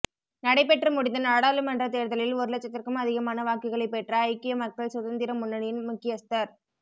நடைபெற்று முடிந்த நாடாளுமன்ற தேர்தலில் ஒரு லட்சத்திற்கும் அதிகமான வாக்குகளை பெற்ற ஐக்கிய மக்கள் சுதந்திர முன்னணியின் முக்கியஸ்தர்